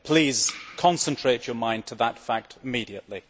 Please concentrate your mind on that fact immediately.